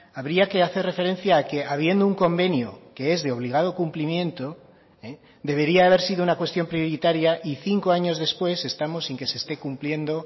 habría que hacer referencia a que habiendo un convenio que es de obligado cumplimiento debería haber sido una cuestión prioritaria y cinco años después estamos sin que se esté cumpliendo